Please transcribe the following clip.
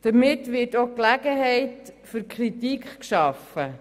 Damit wird auch Gelegenheit für Kritik geschaffen.